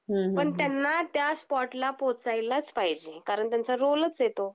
हम्म हम्म हम्म पण त्यांना त्या स्पॉटला पोहचायलाच पाहिजे, कारण त्यांचा रोलच आहे तो.